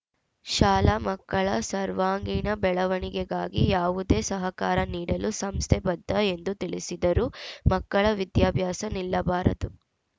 ಶಾಲಾ ಮಕ್ಕಳ ಸರ್ವಾಂಗೀಣ ಬೆಳವಣಿಗೆಗಾಗಿ ಯಾವುದೇ ಸಹಕಾರ ನೀಡಲು ಸಂಸ್ಥೆ ಬದ್ಧ ಎಂದು ತಿಳಿಸಿದರು ಮಕ್ಕಳ ವಿದ್ಯಾಭ್ಯಾಸ ನಿಲ್ಲಬಾರದು